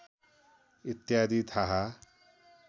इत्यादि थाहा